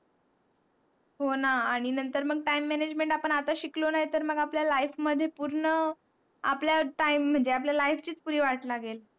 हो ना आणि नंतर मग time management आपण आता शिकलो नाही तर मग आपल्या life मध्ये पूर्ण आपल्या time म्हनजे आपल्या life चीच पुरी वाट लागेल.